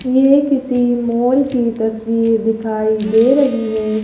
ये किसी मॉल की तस्वीर दिखाई दे रही हैं।